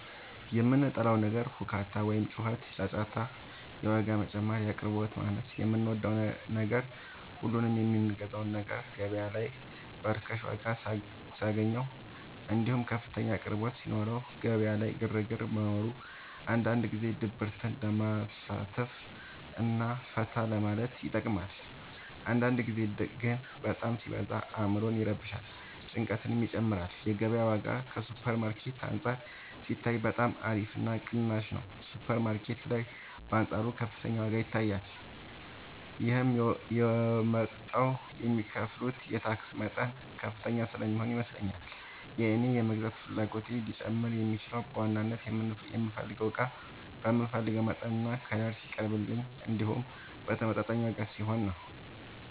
የምጠላው ነገር ሁካታ ወይም ጩኸትና ጫጫታ የዋጋ መጨመር የአቅርቦት ማነስ የምወደው ነገር ሁሉንም የምገዛውን ነገር ገበያ ላይ በርካሽ ዋጋ ሳገኘው እንዲሁም ከፍተኛ አቅርቦት ሲኖረው ገበያ ላይ ግርግር መኖሩ አንዳንድ ጊዜ ድብርትን ለማሳለፍ እና ፈታ ለማለት ይጠቅማል አንዳንድ ጊዜ ግን በጣም ሲበዛ አዕምሮን ይረብሻል ጭንቀትንም ይጨምራል የገበያው ዋጋ ከሱፐር ማርኬት አንፃር ሲታይ በጣም አሪፍ እና ቅናሽ ነው ሱፐር ማርኬት ላይ በአንፃሩ ከፍተኛ ዋጋ ይታያል ይህም የመጣው የሚከፍሉት የታክስ መጠን ከፍተኛ ስለሚሆን ይመስለኛል የእኔ የመግዛት ፍላጎቴ ሊጨምር የሚችለው በዋናነት የምፈልገው እቃ በምፈልገው መጠንና ከለር ሲቀርብልኝ እንዲሁም በተመጣጣኝ ዋጋ ሲሆን ነው።